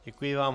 Děkuji vám.